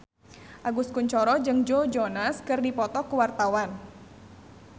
Agus Kuncoro jeung Joe Jonas keur dipoto ku wartawan